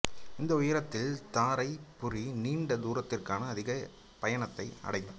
இந்த உயரத்தில் தாரைப் பொறி நீண்ட தூரத்திற்கான அதிக பயனை அடையும்